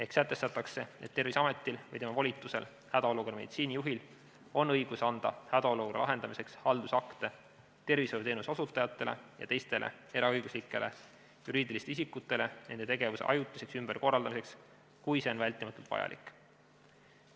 Sätestatakse, et Terviseametil ja tema volitusel hädaolukorra meditsiinijuhil on õigus anda hädaolukorra lahendamiseks haldusakte tervishoiuteenuse osutajatele ja teistele eraõiguslikele juriidilistele isikutele nende tegevuse ajutiseks ümberkorraldamiseks, kui see on vältimatult vajalik.